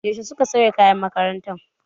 Yaushe suka sauya kayan makarantar?